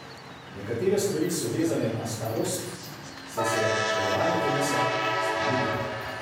Nekatere stvari so vezane na starost, saj se delovanje telesa spreminja.